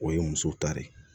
O ye muso ta de ye